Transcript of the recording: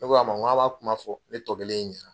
Ne ko a ma n ko aw b'a kuma fɔ ne tɔkelen ɲɛna.